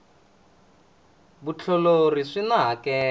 vutiolori swina hakelo